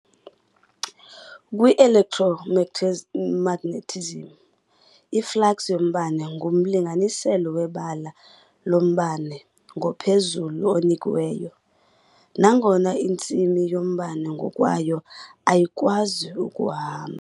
Kwi-electromagnetism, i-flux yombane ngumlinganiselo webala lombane ngophezulu onikiweyo, nangona intsimi yombane ngokwayo ayikwazi ukuhamba.